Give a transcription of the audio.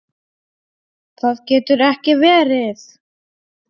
Það getur ekki verið!